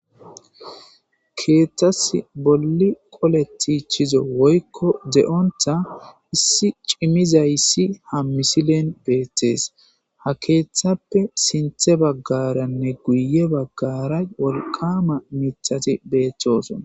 Keethtas bolli qoletichizo woykko de'onta issi cimizayssi ha misilen beettees ha keeththappe sinthe baggaranne guye baggaray walqama mitati beethtosona.